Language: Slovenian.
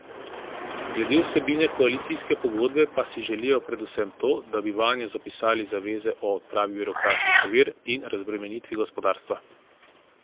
Glede vsebine koalicijske pogodbe pa si želijo predvsem to, da bi vanjo zapisali zaveze o odpravi birokratskih ovir in razbremenitvi gospodarstva.